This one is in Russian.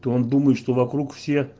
он думает что вокруг все